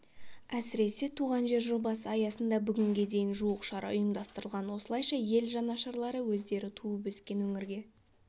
әсіресе туған жер жобасы аясында бүгінге дейін жуық шара ұйымдастырылған осылайша ел жанашырлары өздері туып-өскен өңірге